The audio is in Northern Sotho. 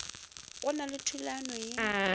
go na le thulano ye